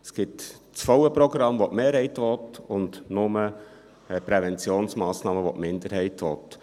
Es gibt das volle Programm, das die Mehrheit will, und nur die Präventionsmassnahmen, welche die Minderheit will.